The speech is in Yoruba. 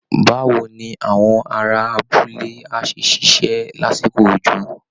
Báwo ni àwọn ará abúlé á ṣe ṣiṣẹ́ lásìkò òjò?